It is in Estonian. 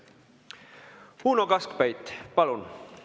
Uno Kaskpeit, palun!